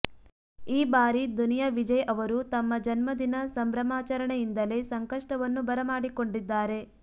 ಈ ಬಾರಿ ದುನಿಯಾ ವಿಜಯ್ ಅವರು ತಮ್ಮ ಜನ್ಮದಿನ ಸಂಭ್ರಮಾಚರಣೆಯಿಂದಲೇ ಸಂಕಷ್ಟವನ್ನು ಬರಮಾಡಿಕೊಂಡಿದ್ದಾರೆ